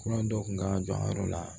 Kura dɔ kun ka don a yɔrɔ la